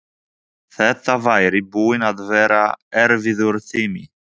Þetta væri búinn að vera erfiður tími.